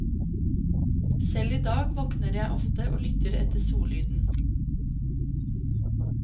Selv i dag våkner jeg ofte og lytter etter sollyden.